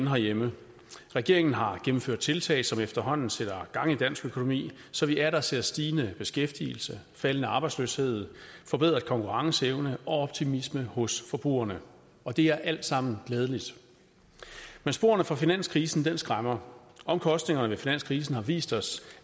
herhjemme regeringen har gennemført tiltag som efterhånden sætter gang i dansk økonomi så vi atter ser stigende beskæftigelse faldende arbejdsløshed forbedret konkurrenceevne og optimisme hos forbrugerne og det er alt sammen glædeligt men sporene fra finanskrisen skræmmer omkostningerne af finanskrisen har vist os